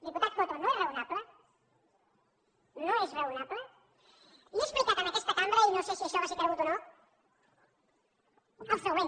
diputat coto no és raonable no és raonable i he explicat en aquesta cambra i no sé si això va ser cregut o no el següent